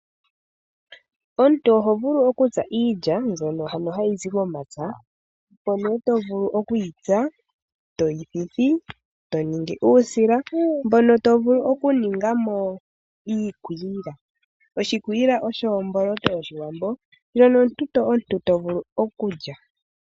Omuntu oho vulu okutsa iilya, mbyoka ha yi zi momapya, eto yi thithi, toningi uusila mbono tovulu okuningamo iikwiila. Oshikwiila osho omboloto yoshiwambo ndjoka omuntu tovulu okulya.